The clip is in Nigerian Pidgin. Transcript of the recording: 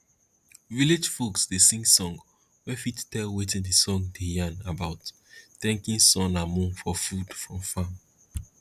village folks dey sing song wey fit tell wetin d song dey yarn about thanking sun and moon for food from farm